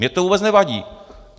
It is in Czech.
Mně to vůbec nevadí.